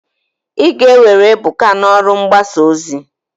Ị ga-ewere Ebuka n'ọrụ mgbasa ozi!